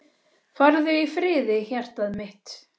Farðu í friði hjartað mitt.